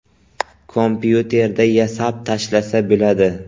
Kompyuterda yasab tashlasa bo‘ladi.